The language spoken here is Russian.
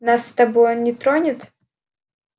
нас с тобой он не тронет